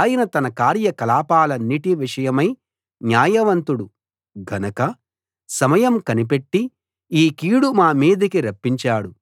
ఆయన తన కార్య కలాపాలన్నిటి విషయమై న్యాయవంతుడు గనక సమయం కనిపెట్టి ఈ కీడు మా మీదికి రప్పించాడు